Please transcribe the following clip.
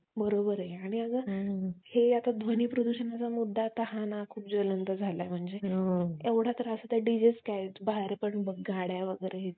घाण खाल्लं आणि होळी साजरी केली. असं नसतं. त्याच्यावर काही लोकं असापण आक्षेप घेतात